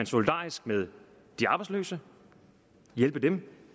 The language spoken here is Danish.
solidarisk med de arbejdsløse og hjælpe dem